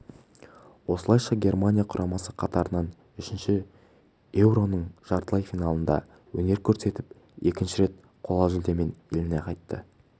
осылайша германия құрамасы қатарынан үшінші еуроның жартылай финалында өнер көрсетіп екінші рет қола жүлдемен еліне қайтты